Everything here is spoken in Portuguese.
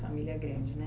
Família grande, né?